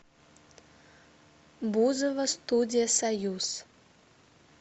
бузова студия союз